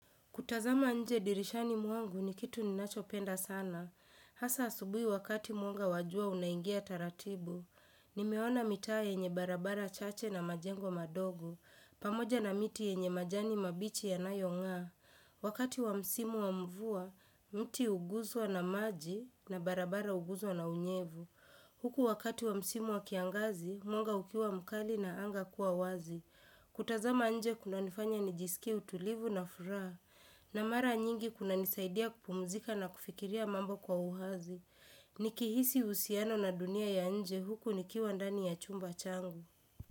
Kutazama nje dirishani mwangu ni kitu ninachopenda sana. Hasa asubuhi wakati mwanga wa jua unaingia taratibu. Nimeona mitaa yenye barabara chache na majengo madogo. Pamoja na miti yenye majani mabichi ya nayongaa. Wakati wa msimu wa mvua, mti uguzwa na maji na barabara uguzwa na unyevu. Huku wakati wa msimu wa kiangazi, mwanga ukiwa mkali na anga kuwa wazi. Kutazama nje kuna nifanya nijisiki utulivu na furaha. Na mara nyingi kunanisaidia kupumzika na kufikiria mambo kwa uhazi. Nikihisi husiano na dunia ya nje huku nikiwandani ya chumba changu.